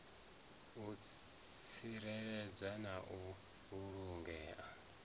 u tsireledzea na u vhulangea